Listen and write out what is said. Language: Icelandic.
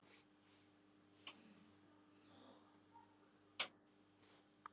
Heimir: Já, og færð svo eitthvað frá Tryggingastofnun eða?